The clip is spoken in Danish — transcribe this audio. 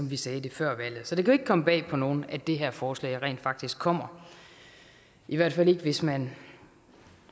vi sagde det før valget så det kan jo ikke komme bag på nogen at det her forslag rent faktisk kommer i hvert fald ikke hvis man